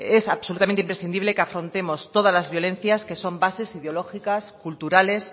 es absolutamente imprescindible que afrontemos todas la violencias que son bases ideológicas culturales